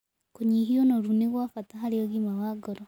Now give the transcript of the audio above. Kũnyĩhĩa ũnorũ nĩ gwa bata harĩ ũgima wa ngoro